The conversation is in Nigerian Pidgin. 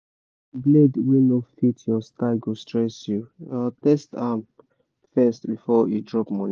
blade wey no fit your style go stress you—test am first before you drop money